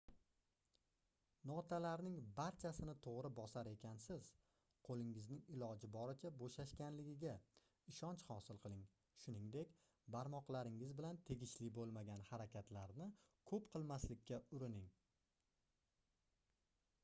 notalarning barchasini toʻgʻri bosar ekansiz qoʻlingizning iloji boricha boʻshashganligiga ishonch hosil qiling shuningdek barmoqlaringiz bilan tegishli boʻlmagan harakatlarni koʻp qilmaslikka urining